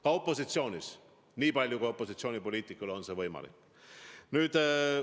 Ka opositsioonis on opositsioonipoliitikul võimalik midagi ära teha.